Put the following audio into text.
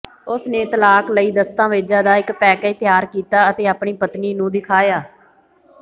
ਉਸ ਨੇ ਤਲਾਕ ਲਈ ਦਸਤਾਵੇਜ਼ਾਂ ਦਾ ਇਕ ਪੈਕੇਜ ਤਿਆਰ ਕੀਤਾ ਅਤੇ ਆਪਣੀ ਪਤਨੀ ਨੂੰ ਦਿਖਾਇਆ